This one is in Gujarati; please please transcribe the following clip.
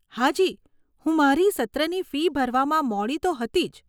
હાજી, હું મારી સત્રની ફી ભરવામાં મોડી તો હતી જ.